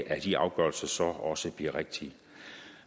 at de afgørelser så også bliver rigtige